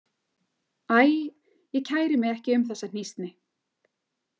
Æ, ég kæri mig ekki um þessa hnýsni.